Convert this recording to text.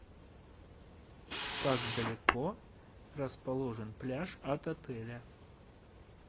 как далеко расположен пляж от отеля